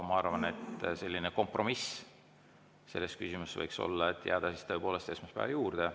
Ma arvan, et selline kompromiss selles küsimuses võiks olla, et jääda siis tõepoolest esmaspäeva juurde.